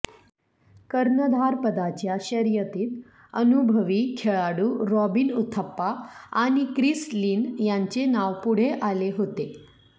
कर्णधारपदाच्या शर्यतीत अनुभवी खेळाडू रॉबिन उथप्पा आणि क्रिस लिन यांचे नाव पुढे आले होते